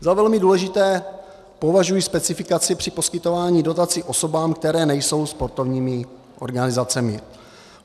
Za velmi důležitou považuji specifikaci při poskytování dotací osobám, které nejsou sportovními organizacemi.